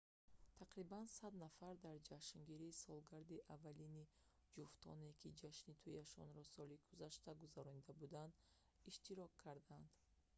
тақрибан 100 нафар дар ҷашнгирии солгарди аввалини ҷуфтоне ки ҷашни туияшонро соли гузашта гузаронида буданд иштирок карданд